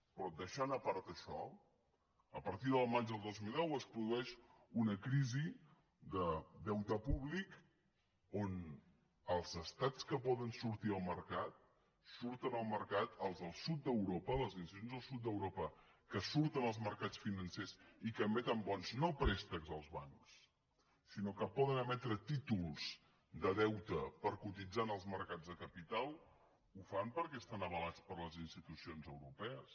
però deixant a part això a partir del maig del dos mil deu es produeix una crisi de deute públic on els estats que poden sortir al mercat surten al mercat els del sud d’europa les institucions del sud d’europa que surten als mercats financers i que emeten bons no préstecs als bancs sinó que poden emetre títols de deute per cotitzar en els mercats de capital ho fan perquè estan avalats per les institucions europees